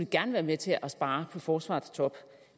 gerne være med til at spare på forsvarets top